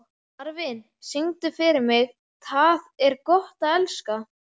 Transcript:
Marvin, syngdu fyrir mig „Tað er gott at elska“.